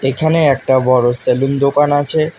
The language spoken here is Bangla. এখানে একটা বড় সেলুন দোকান আছে।